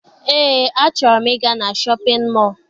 Eé, a chọrọ m I ga na Shọpịn mọọ.